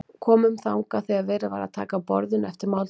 Komum þangað þegar verið var að taka af borðinu eftir máltíðina.